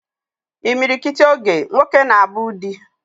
Imilikiti oge, nwoke na abu di